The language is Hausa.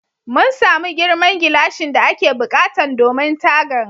Mun samu girman gilashin da ake buƙatan domin tagan.